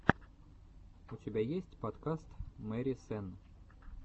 у тебя есть подкаст мэри сенн